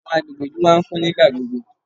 Àwọn agbègbè ìlú máa ń kún nígbà gbogbo.